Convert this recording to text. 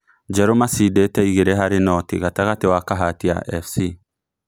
Njeru macindĩte igirĩ harĩ nũti gatagatĩ wa Kahatia Fc